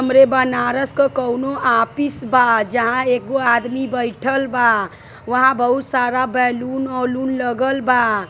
हमरे बनारस क कउनो आपिस बा जहाँ एगो आदमी बईठल बा। वहाँ बहुत सारा बैलून ओलुन लगल बा।